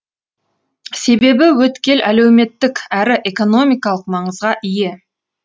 себебі өткел әлеуметтік әрі экономикалық маңызға ие